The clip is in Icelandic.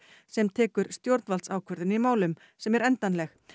sem tekur stjórnvaldsákvörðun í málum sem er endanleg